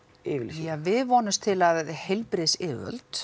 yfirlýsingu ja við vonumst til að að heilbrigðisyfirvöld